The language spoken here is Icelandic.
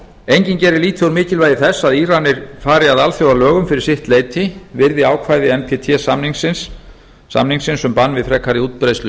enginn gerir lítið úr mikilvægi þess að íranir fari að alþjóðalögum fyrir sitt leyti virði ákvæði með samningsins um bann við frekari útbreiðslu